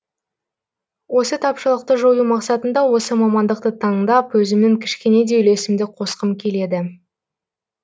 осы тапшылықты жою мақсатында осы мамандықты таңдап өзімнің кішкене де үлесімді қосқым келеді